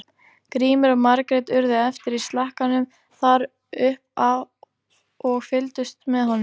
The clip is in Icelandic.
Grímur og Margrét urðu eftir í slakkanum þar upp af og fylgdust með honum.